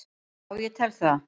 Já ég tel það.